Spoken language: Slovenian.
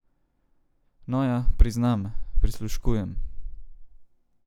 No ja, priznam, prisluškujem.